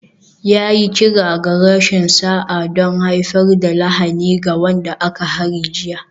Ya yi kira ga rashin sa'a don haifar da lahani ga wanda aka hari jiya